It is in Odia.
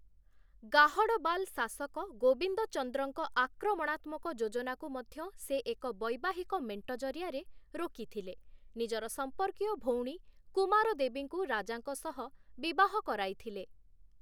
ଗାହଡ଼ବାଲ ଶାସକ ଗୋବିନ୍ଦଚନ୍ଦ୍ରଙ୍କ ଆକ୍ରମଣାତ୍ମକ ଯୋଜନାକୁ ମଧ୍ୟ ସେ ଏକ ବୈବାହିକ ମେଣ୍ଟ ଜରିଆରେ ରୋକିଥିଲେ, ନିଜର ସମ୍ପର୍କୀୟ ଭଉଣୀ କୁମାରଦେବୀଙ୍କୁ ରାଜାଙ୍କ ସହ ବିବାହ କରାଇଥିଲେ ।